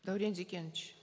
даурен зекенович